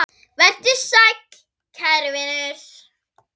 Vertu sæll, kæri vinur.